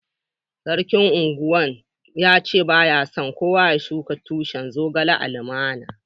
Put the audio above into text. Sarkin Ungwan mai gida ya ce ba ya so kowa ya shuka tushin zogalai a'alumman.